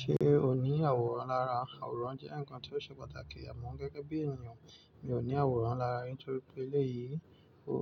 Ṣe o ní àwòrán lára? Àwòrán jẹ ǹkan tí o ṣe pàtàkì ọmọ gẹgẹbi ènìyàn. Mi ò ní àwòrán lára nítorí pé eléyìí o